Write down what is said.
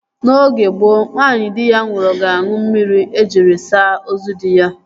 N'oge gboo, nwaanyị di ya nwụrụ ga-aṅụ mmiri ejiri saa ozu dị ya